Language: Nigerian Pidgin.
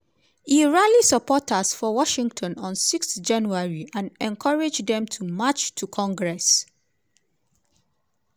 e rally supporters for washington on 6 january and encourage dem to march to congress.